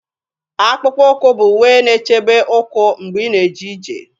Akpụkpọ ụkwụ bụ uwe na-echebe ụkwụ mgbe ị na-eje ije